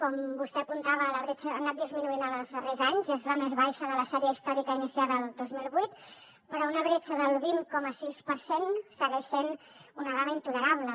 com vostè apuntava la bretxa ha anat disminuint en els darrers anys i és la més baixa de la sèrie històrica iniciada el dos mil vuit però una bretxa del vint coma sis per cent segueix sent una dada intolerable